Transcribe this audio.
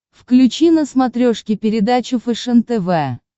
включи на смотрешке передачу фэшен тв